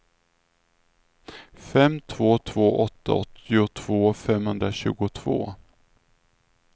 fem två två åtta åttiotvå femhundratjugotvå